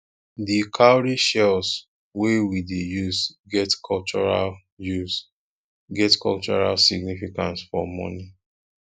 di cowrie shells wey we dey use get cultural use get cultural significance for money